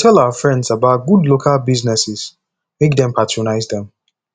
we go tell our friends about good local businesses make dem patronize dem